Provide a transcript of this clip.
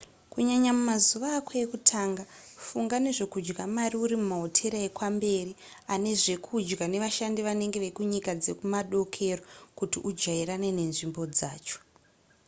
kunyanya mumazuva ako ekutanga funga nezvekudya mari uri mumahotera ekwamberi ane zvekudya nevashandi vanenge vekunyika dzekumadokero kuti ujairane nenzvimbo yacho